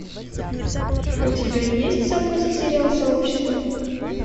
у тебя есть в запасе сериал сообщество